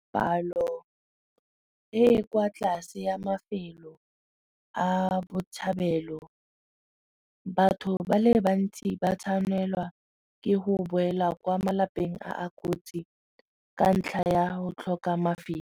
Palo e e kwa tlase ya mafelo a botshabelo batho ba le bantsi ba tshwanelwa ke go boela kwa malapeng a a kotsi ka ntlha ya go tlhoka mafelo.